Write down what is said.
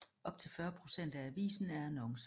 Op til 40 procent af avisen er annoncer